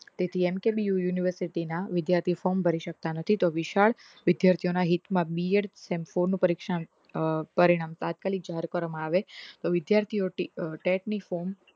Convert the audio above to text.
ATM કે BOuniversity ના વિદ્યાર્થીઓ form ભરી શકતા નથી તો વિશાળ વિદ્યાર્થીઓ ના હિત મા BEDsem four નું પરીક્ષા નુ પરિણામ તાત્કાલિત જાહેર કરવામાં આવે વિદ્યાર્થીઓ ટેગની form